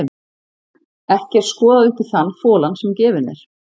Ekki er skoðað upp í þann folann sem gefinn er.